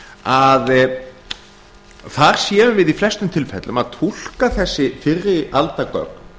að þar séum við í flestum tilfellum að túlka þessi fyrri alda gögn